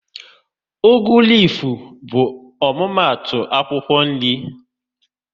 Ugu lifu bụ omumatu akwụkwọ nri